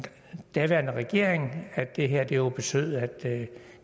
daværende regering at det her jo betød at det